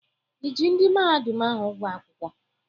I ji ndị mahadum ahụ ụgwọ akwụkwọ?